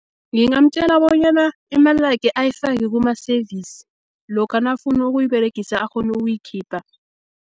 Ngingamtjela bonyana, imali lakhe ayifaki kumaseyivisi, lokha nakafuna ukuyiberegisa akghonu ukuyikhipha.